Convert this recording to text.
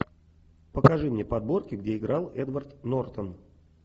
покажи мне подборки где играл эдвард нортон